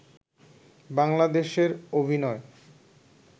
বাংলাদেশের অভিনয়